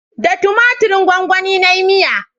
Da tumatirin gwanwani na yi miya